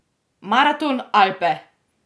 Maraton Alpe!